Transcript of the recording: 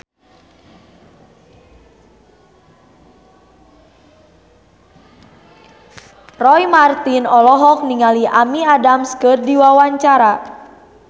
Roy Marten olohok ningali Amy Adams keur diwawancara